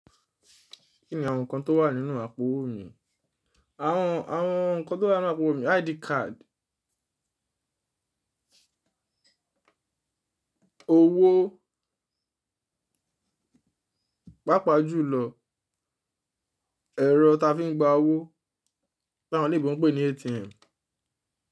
Kí ni àwọn nǹkan tó wà nínú àpò owó mi? Àwọn, àwọn nǹkan tó wà nínú àpò owó mi, ID card, owó, pàápàá jùlọ ẹ̀rọ ta fi ń gba owó tí àwọn eleyinbo pè ní ATM.